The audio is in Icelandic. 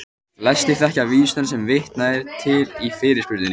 Flestir þekkja vísuna sem vitnað er til í fyrirspurninni.